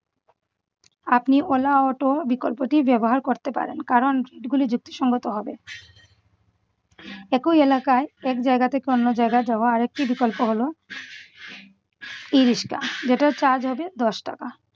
আপনি ola auto বিকল্পটি ব্যবহার করতে পারেন কারণ যুক্তিসঙ্গত হবে। একই এলাকায় এক জায়গা থেকে অন্য জায়গায় যাওয়া আরেকটি বিকল্প হল ই-রিক্সা যেটার charge হবে দশ টাকা।